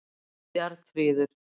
Bjarnfríður